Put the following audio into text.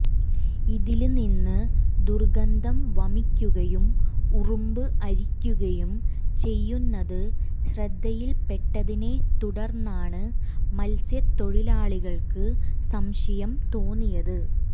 ഇതില്നിന്ന് ദുര്ഗന്ധം വമിക്കുകയും ഉറുമ്പ് അരിക്കുകയും ചെയ്യുന്നത് ശ്രദ്ധയില്പ്പെട്ടതിനെ തുടര്ന്നാണ് മത്സ്യതൊഴിലാളികള്ക്ക് സംശയം തോന്നിയത്